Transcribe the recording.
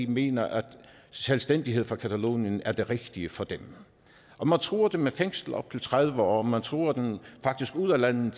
mener at selvstændighed for catalonien er det rigtige for dem og man truer dem med fængsel i op til tredive år og man truer dem faktisk ud af landet